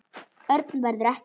Örn verður ekki heima.